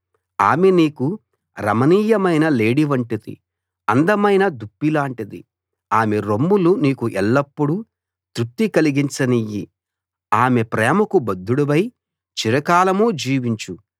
ఆమె నీకు రమణీయమైన లేడి వంటిది అందమైన దుప్పిలాంటిది ఆమె రొమ్ములు నీకు ఎల్లప్పుడూ తృప్తి కలిగించనియ్యి ఆమె ప్రేమకు బద్ధుడివై చిరకాలం జీవించు